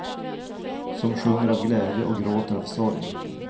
Som sjunger av glädje och gråter av sorg.